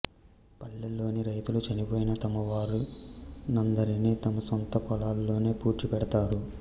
పల్లెల్లోని రైతులు చనిపోయిన తమ వారి నందరిని తమ సొంత పొలాల్లోనె పూడ్చి పెడతారు